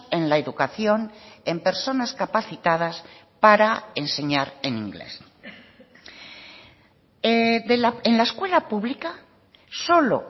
en la educación en personas capacitadas para enseñar en inglés en la escuela pública solo